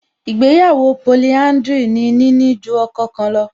Ìgbéyàwó polihádrìlì ni níní ju ọkọ kan lọ